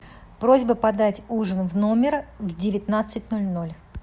просьба подать ужин в номер в девятнадцать ноль ноль